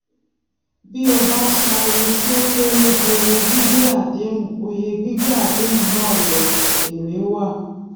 bí o bá san oye tí ó kéré ju oye gbígbé àdéhùn oye gbígbé àdéhùn náà lọ èré wà